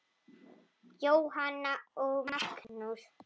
Jóhanna og Magnús.